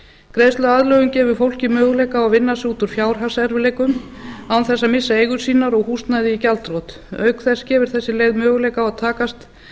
greiðsluaðlögun gefur fólki möguleika á að vinna sig út úr fjárhagserfiðleikum án þess að missa eigur sínar og húsnæði í gjaldþrot auk þess gefur þessi leið möguleika að takast